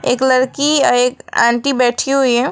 एक लड़की एक आंटी बैठी हुई हैं।